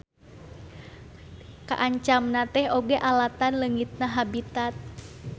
Kaancamna teh oge alatan leungitna habitat.